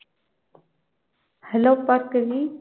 hello Bhargavi